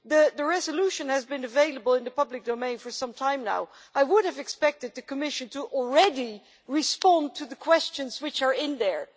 The resolution has been available in the public domain for some time now. I would have expected the Commission to have already responded to the questions which are in there.